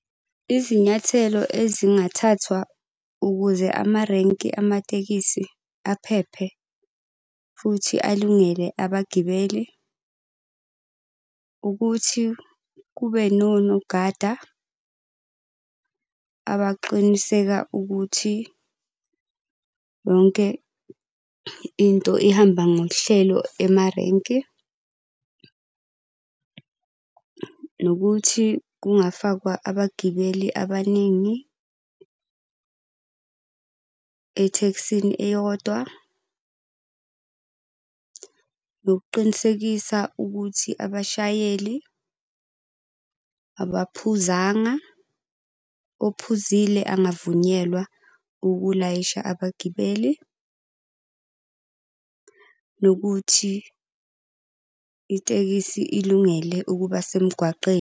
Izinyathelo ezingathathwa ukuze amarenki amatekisi aphephe, futhi alungele abagibeli ukuthi kube nonogada abaqiniseka ukuthi yonke into ihamba ngohlelo emarenki. Nokuthi kungafakwa abagibeli abaningi ethekisini eyodwa. Nokuqinisekisa ukuthi abashayeli abaphuzanga, ophuzile angavunyelwa ukulayisha abagibeli. Nokuthi itekisi ilungele ukuba semgwaqeni.